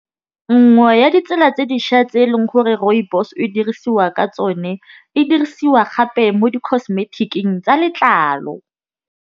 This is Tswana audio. Nngwe ya ditsela tse dišwa tse eleng gore rooibos e dirisiwa ka tsone, e dirisiwa gape mo di cosmetic-ing tsa letlalo.